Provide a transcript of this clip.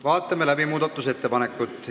Vaatame läbi muudatusettepanekud.